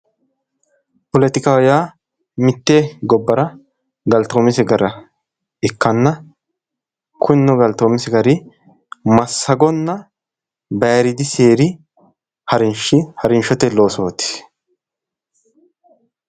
Poletikaho yaa mitte gobbara galtoomise gara ikkanna kunino galtoomise gari massagonna bayiiriidi seeri harinshote loosooti.